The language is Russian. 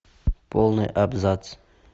полный абзац